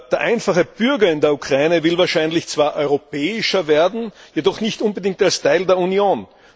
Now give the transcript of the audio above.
Der einfache Bürger in der Ukraine will wahrscheinlich zwar europäischer werden, jedoch nicht unbedingt als Teil der Union.